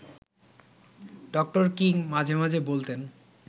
ড. কিং মাঝে মাঝে বলতেন